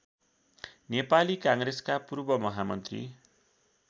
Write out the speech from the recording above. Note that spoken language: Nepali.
नेपाली काङ्ग्रेसका पूर्वमहामन्त्री